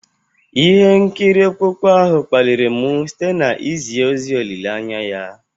Ihe nkiri okpukpe ahụ kpaliri m site na izi ozi olileanya ya.